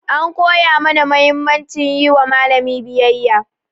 An koya mana mahimmancin yi wa malami biyayya.